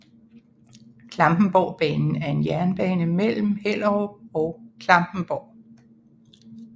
Klampenborgbanen er en jernbane mellem Hellerup og Klampenborg